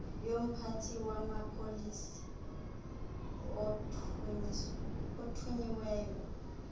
yomphathi wamapolisa othunyiweyo